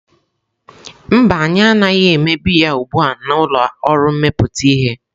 Mba, anyị anaghị eme biya ugbu a na ụlọ ọrụ mmepụta ihe.